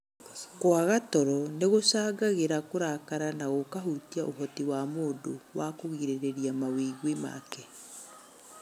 Kũaga toro nĩ gũcangagĩra kũrakara na gũkahutia ũhoti wa mũndũ wa kũgirĩrĩria mawĩgwi make.